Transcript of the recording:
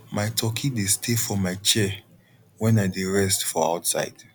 my turkey dey stay for my chair wen i dey rest for outside